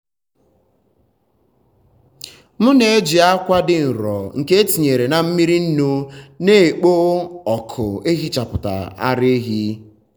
m na-eji akwa dị nro nke etinyere na mmiri nnu na-ekpo ọkụ ehichapụ ara ehi.